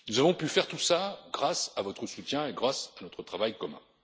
Nous avons pu faire tout cela grâce à votre soutien et grâce à notre travail commun.